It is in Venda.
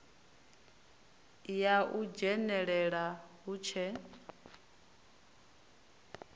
ya u dzhenelela hu tshe